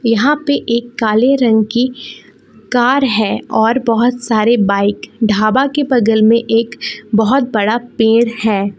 यहां पर एक काले रंग की कार है और बहुत सारे बाइक ढाबा के बगल में एक बहुत बड़ा पेड़ है।